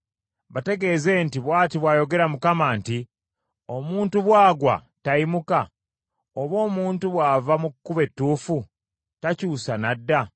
“Bategeeze nti, Bw’ati bw’ayogera Mukama nti, “Omuntu bw’agwa, tayimuka? Oba omuntu bw’ava mu kkubo ettuufu, takyusa n’adda?